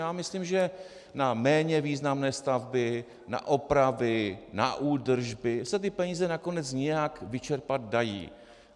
Já myslím, že na méně významné stavby, na opravy, na údržby se ty peníze nakonec nějak vyčerpat dají.